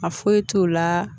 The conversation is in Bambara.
A foyi t'o la